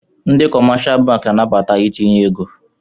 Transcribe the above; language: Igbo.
Ndị kọmáshá bankị na-anabata itinye égo